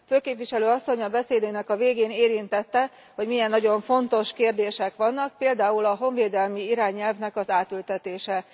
Főképviselő Asszony a beszédének a végén érintette, hogy milyen nagyon fontos kérdések vannak, például a honvédelmi irányelvnek az átültetése.